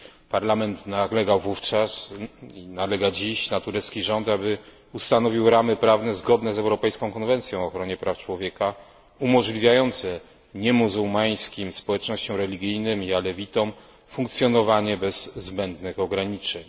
Parlament nalegał wówczas i nalega dziś na turecki rząd, aby ustanowił ramy prawne zgodne z Europejską konwencją o ochronie praw człowieka umożliwiające niemuzułmańskim społecznościom religijnym i alewitom funkcjonowanie bez zbędnych ograniczeń.